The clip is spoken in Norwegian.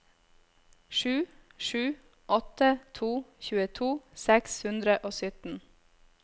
sju sju åtte to tjueto seks hundre og sytten